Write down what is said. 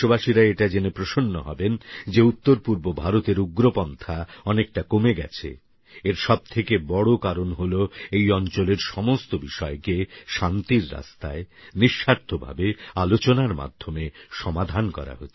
দেশবাসীরা এটা জেনে প্রসন্ন হবেন যে উত্তরপুর্ব ভারতের উগ্রপন্থা অনেকটা কমে গেছে এর সবথেকে বড় কারণ হলো এই অঞ্চলের সমস্ত বিষয়কে শান্তির রাস্তায় নিঃস্বার্থ ভাবে আলোচনার মাধ্যমে সমাধান করা হচ্ছে